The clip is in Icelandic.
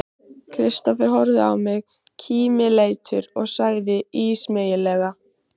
Kristófer horfði á mig kímileitur og sagði ísmeygilega